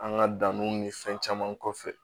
An ka danniw ni fɛn caman kɔfɛ